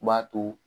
U b'a to